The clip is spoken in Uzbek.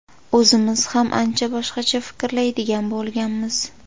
O‘zimiz ham ancha boshqacha fikrlaydigan bo‘lganmiz.